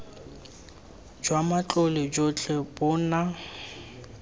jwa matlole jotlhe bo na